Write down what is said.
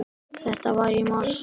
Þetta var í mars.